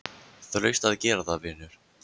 Þú hlaust að gera það, vinur.